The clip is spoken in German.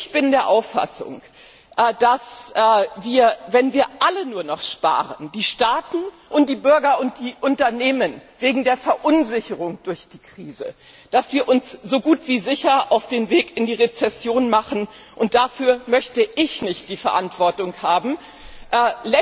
Ich bin der Auffassung, dass wir, wenn wir alle die Staaten, die Bürger und die Unternehmen wegen der Verunsicherung durch die Krise nur noch sparen, uns so gut wie sicher auf den Weg in die Rezession machen, und dafür möchte ich nicht die Verantwortung tragen.